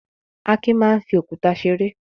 Akin máa ń fi òkúta ṣeré.